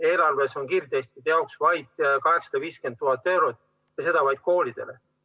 Eelarves on kiirtestide jaoks vaid 850 000 eurot ja seda vaid koolidele.